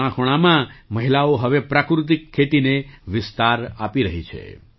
દેશના ખૂણાખૂણામાં મહિલાઓ હવે પ્રાકૃતિક ખેતીને વિસ્તાર આપી રહી છે